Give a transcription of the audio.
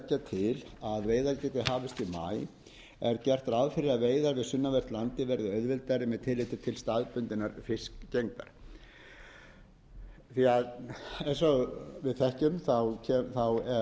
því að leggja til að veiðar geti hafist í maí er gert ráð fyrir að veiðar við sunnanvert landið verði auðveldari með tilliti til staðbundinnar fiskgengdar eins og við þekkjum er fiskgengd á